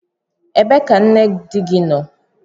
Ebee ka nne di gị nọ?